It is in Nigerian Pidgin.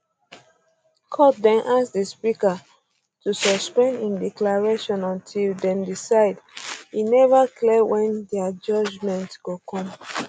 court den ask di speaker to um suspend im declaration until dem decide e never clear wen dia judgement go come